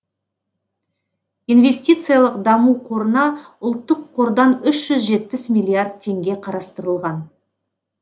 инвестициялық даму қорына ұлттық қордан үш жүз жетпіс миллиард теңге қарастырылған